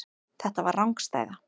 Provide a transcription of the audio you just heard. Þetta var rangstæða.